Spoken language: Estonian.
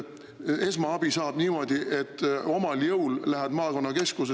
Esmaabi saab niimoodi, et sa omal jõul lähed maakonnakeskusesse …